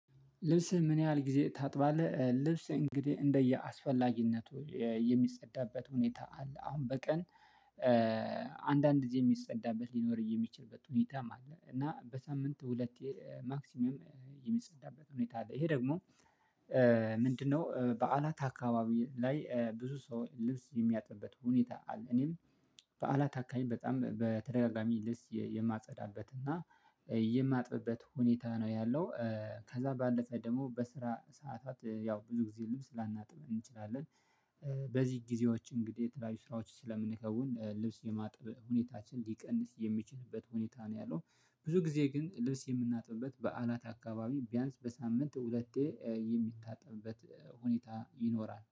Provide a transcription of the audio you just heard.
ልብስህ ምን? ያህል ጊዜ ታጥባለህ ልብስ እንግዲህ እንደየአስፈላጊነቱ የሚጸዳበት ሁኔታ አለ። አሁን በቀን አንዳንድ ጊዜ የሚጸዳበት ሊኖር የሚችልበት ሁኔታም አለ። እና በሳምንት ሁለቴ ማክሲመም የሚጸዳበት ሁኔታ አለ። ይሄ ደግሞ ምንድነው? በዓላት አካባቢ ላይ ብዙ ሰው ልብስ የሚያጥብበት ሁኔታ አለ። እኔም በዓላት አካባቢ በጣም በተደጋጋሚ ልብስ የማጸዳበት እና የማጥብበት ሁኔታ ነው ያለው። ከዛ ባለፈ ደግሞ በስራ ሰዓታት ያው ብዙ ጊዜ ልብስ ላናጥብም እንችላለን። በዚህ ጊዜዎች እንግዲህ የተለያዩ ስራዎች ስለምንከውን ልብስ የማጥበቅ ሁኔታችን ሊቀንስ የሚችልበት ሁኔታ ነው ያለው። ብዙ ጊዜ ግን ልብስ የምናጥብበት በዓላት አካባቢ ቢያንስ በሳምንት ሁለቴ የሚታጠብበት ሁኔታ ይኖራል